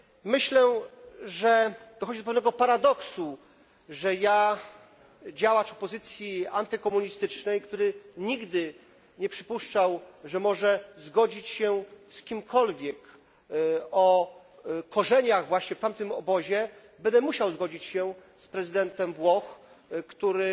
Myślę, że dochodzi do pewnego paradoksu, że ja, działacz opozycji antykomunistycznej który nigdy nie przypuszczał, że może zgodzić się z kimkolwiek, kto ma swoje korzenie właśnie w tamtym obozie będę musiał zgodzić się z prezydentem Włoch, który